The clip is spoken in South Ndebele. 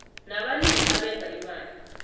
nabalimi abenza imali